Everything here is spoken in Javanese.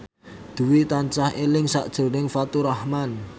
Dwi tansah eling sakjroning Faturrahman